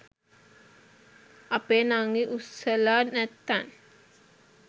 අපේ නංගි උස්සලා නැත්තං